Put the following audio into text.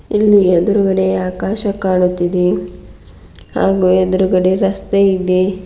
ಇಲ್ಲಿ ಎದ್ರುಗಡೆ ಆಕಾಶ ಕಾಣುತ್ತಿದೆ ಹಾಗು ಎದ್ರುಗಡೆ ರಸ್ತೆ ಇದೆ.